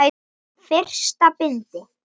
Fyrsta bindi.